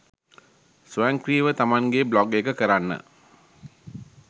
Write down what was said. ස්වයංක්‍රීයව තමන්ගේ බ්ලොග් එක කරන්න